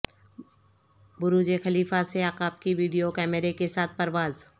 برج Khalifa سے عقاب کی ویڈیو کیمرے کے ساتھ پرواز